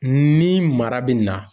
Ni mara be na